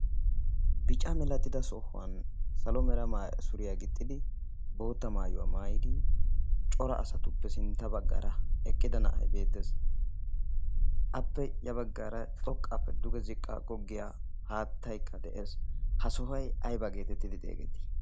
Bicca milatidda sohuwan salo mera suriyaa gixxiid bootta maayuwa maayidi cora asatuppe sintta baggara eqqida na'ay beettees. appe ya baggara xoqqappe duge ziqqa googgiyaa haatttay beettees. ha sohoy aybba getettidi xesseti?